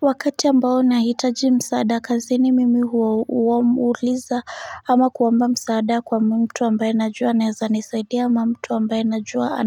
Wakati ambao nahitaji msaada kazini mimi huuliza ama kuomba msaada kwa mtu ambaye najua anaeza nisaidia ama mtu ambaye najua